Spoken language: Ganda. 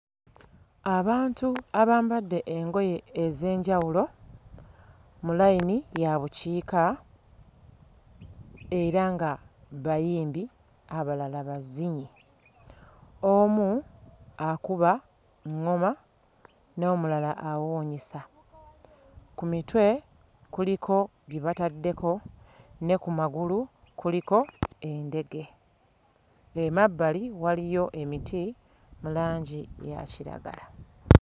Abantu abambadde engoye ez'enjawulo mu layini ya bukiika era nga bayimbi, abalala bazinyi. Omu akuba ŋŋoma, n'omulala awuunyisa. Ku mitwe kuliko bye bataddeko ne ku magulu kuliko endege. Emabbali waliyo emiti mu langi eya kiragala.